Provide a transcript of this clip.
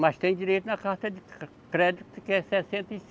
Mas tem direito na carta de cre, crédito que é sessenta e